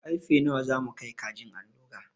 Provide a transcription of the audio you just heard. Karfe nawa za mu kai kajin allura?